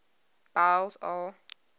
boles aw